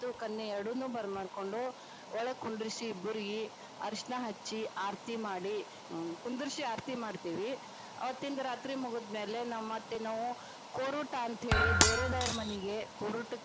ಮತ್ತು ಕನ್ಯಾ ಎರಡುನೂ ಬರಮಾಡ್ಕೊಂಡು ಒಳಗ ಕುಂದ್ರಿಸಿ ಇಬ್ಬರಿಗಿ ಅರಶಿಣ ಹಚ್ಚಿ ಆರತಿ ಮಾಡಿ ಕುಂದ್ರಿಸಿ ಆರತಿ ಮಾಡ್ತಿವಿ ಆವತ್ತಿಂದ ರಾತ್ರಿ ಮುಗದಮ್ಯಾಲೆ, ನಾವ ಮತ್ತ ನಾವು ಕೋರುಟಾ ಅಂತೇಳಿ ಬೇರೆದವರ ಮನಿಗೆ ಕೋರುಟಕ್ಕ.